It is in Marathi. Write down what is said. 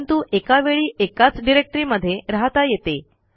परंतु एका वेळी एकाच डिरेक्टरीमध्ये रहाता येते